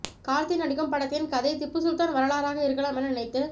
கார்த்தி நடிக்கும் படத்தின் கதை திப்புசுல்தான் வரலாறாக இருக்கலாம் என நினைத்து